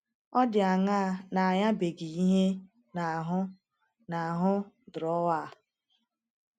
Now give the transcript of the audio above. ọ dị anaa na-anyabeghị ihe n' ahu n' ahu drọwa a